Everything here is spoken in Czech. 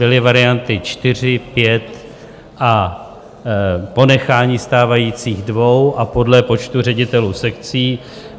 Byly varianty čtyři, pět a ponechání stávajících dvou a podle počtu ředitelů sekcí.